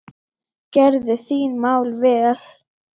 Verðu þín mál vel.